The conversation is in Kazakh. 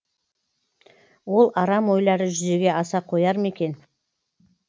ол арам ойлары жүзеге аса қояр ма екен